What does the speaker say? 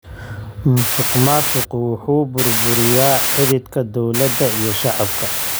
Musuqmaasuqu wuxuu burburiyaa xidhiidhka dawladda iyo shacabka.